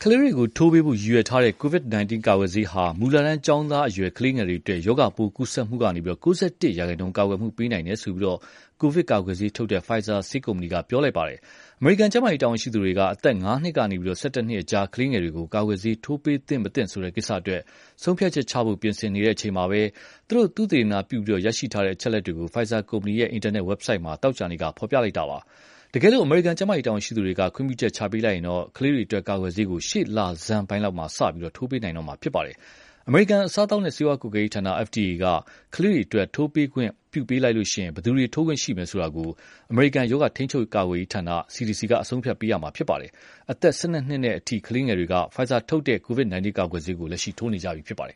လေးတွေကို ထိုးပေးဖို့ ရည်ရွယ်ထားတဲ့ COVID-19 ကာကွယ်ဆေးဟာ မူလတန်းကျောင်းသားအရွယ် ကလေးငယ်တွေအတွက် ရောဂါပိုး ကူးစက်မှုကနေ ၉၁ ရာခိုင်နှုန်း ကာကွယ်မှုပေးနိုင်တယ်လို့ ကိုဗစ်ကာကွယ်ဆေးထုတ်တဲ့ Pfizer ဆေးကုမ္ပဏီက ပြောပါတယ်။ အမေရိကန် ကျန်းမာရေးတာဝန်ရှိသူတွေက အသက် ၅ နှစ်ကနေ ၁၁ နှစ်အကြား ကလေးငယ်တွေကို ကာကွယ်ဆေး ထိုးပေးသင့်မသင့် ဆိုတဲ့ကိစ္စအတွက် ဆုံးဖြတ်ချက်ချဖို့ ပြင်ဆင်နေချိန်မှာပဲ သူတို့ သုတေသနပြုပြီး ရရှိထားတဲ့ အချက်အလက်တွေကို Pfizer ကုမ္ပဏီရဲ့ အင်တာနက် ဝက်ဘ်ဆိုက်မှာ သောကြာနေ့က ဖော်ပြလိုက်တာပါ။ တကယ်လို့ အမေရိကန် ကျန်းမာရေး တာဝန်ရှိသူတွေက ခွင့်ပြုချက် ချပေးလိုက်ရင်တော့ ကလေးတွေအတွက် ကာကွယ်ဆေးကို ရှေ့လဆန်းပိုင်းလောက်မှာ စပြီး ထိုးပေးနိုင်တော့မှာပါ။ အမေရိကန် အစားအသောက်နဲ့ ဆေးဝါးကွပ်ကဲရေးဌာန (FDA) က ကလေးတွေအတွက် ထိုးခွင့်ပြုပေးလိုက်ရင် ဘယ်သူတွေ ထိုးခွင့်ရှိမယ်ဆိုတာကို အမေရိကန် ရောဂါထိန်းချုပ် ကာကွယ်ရေးဌာန (CDC) က အဆုံးဖြတ်ပေးမှာ ဖြစ်ပါတယ်။ အသက် ၁၂ နှစ်အထိ ကလေးငယ်တွေက Pfizer ကထုတ်တဲ့ COVID-19 ကာကွယ်ဆေးကို ထိုးနေကြပြီဖြစ်ပါတယ်